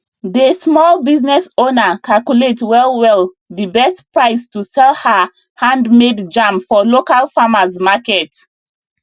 dey small business owner calculate well well d best price to sell her handmade jam for local farmers market